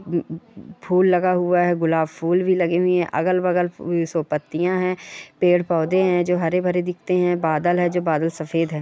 उम फूल लगा हुआ है। गुलाब फूल भी लगे हुए है अगल बगल सो पत्तिया है पेड़ पोदे है जो हरे भरे दीखते है बदल है जो बदल सफ़ेद है।